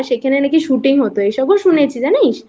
সেখানে নাকি শুটিং হতো এসবও শুনেছি জানিস